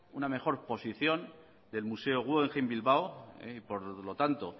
una mejor posición del museo guggenheim bilbao por lo tanto